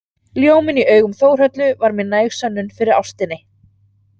Ljóminn í augum Þórhöllu var mér næg sönnun fyrir ástinni.